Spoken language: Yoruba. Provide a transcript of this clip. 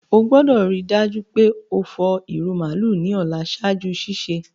O gbọ́dọ̀ rii dájú pe o fọ ìrù màálù ni ọ̀la ṣaaju sísẹ̀.